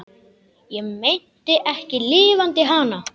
Ég meinti ekki LIFANDI HANA.